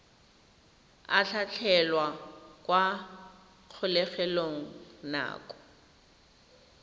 a tlhatlhelwa kwa kgolegelong nako